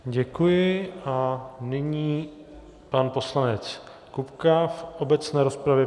Děkuji a nyní pan poslanec Kupka v obecné rozpravě.